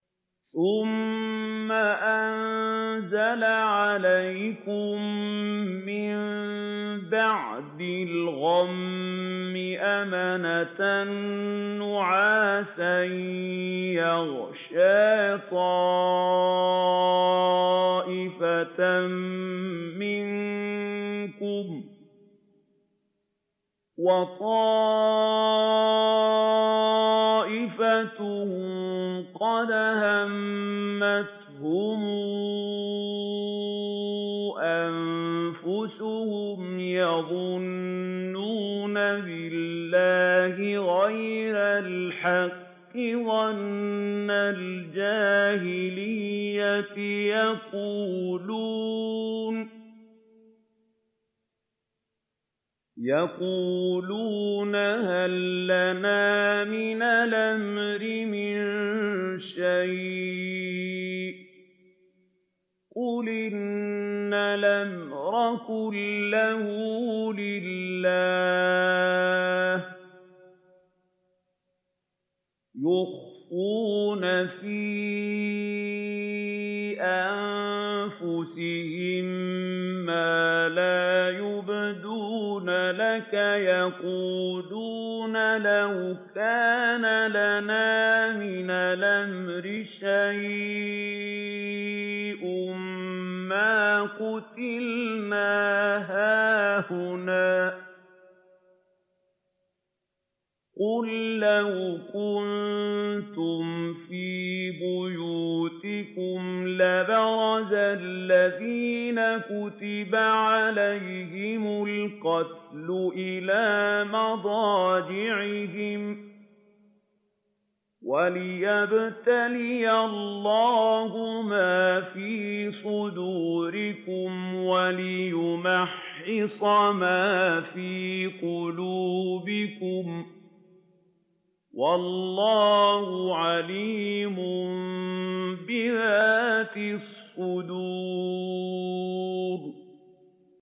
ثُمَّ أَنزَلَ عَلَيْكُم مِّن بَعْدِ الْغَمِّ أَمَنَةً نُّعَاسًا يَغْشَىٰ طَائِفَةً مِّنكُمْ ۖ وَطَائِفَةٌ قَدْ أَهَمَّتْهُمْ أَنفُسُهُمْ يَظُنُّونَ بِاللَّهِ غَيْرَ الْحَقِّ ظَنَّ الْجَاهِلِيَّةِ ۖ يَقُولُونَ هَل لَّنَا مِنَ الْأَمْرِ مِن شَيْءٍ ۗ قُلْ إِنَّ الْأَمْرَ كُلَّهُ لِلَّهِ ۗ يُخْفُونَ فِي أَنفُسِهِم مَّا لَا يُبْدُونَ لَكَ ۖ يَقُولُونَ لَوْ كَانَ لَنَا مِنَ الْأَمْرِ شَيْءٌ مَّا قُتِلْنَا هَاهُنَا ۗ قُل لَّوْ كُنتُمْ فِي بُيُوتِكُمْ لَبَرَزَ الَّذِينَ كُتِبَ عَلَيْهِمُ الْقَتْلُ إِلَىٰ مَضَاجِعِهِمْ ۖ وَلِيَبْتَلِيَ اللَّهُ مَا فِي صُدُورِكُمْ وَلِيُمَحِّصَ مَا فِي قُلُوبِكُمْ ۗ وَاللَّهُ عَلِيمٌ بِذَاتِ الصُّدُورِ